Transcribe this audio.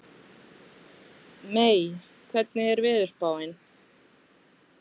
Mey, hvernig er veðurspáin?